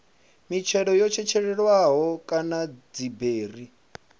mitshelo yo tshetshelelwaho kana dziberi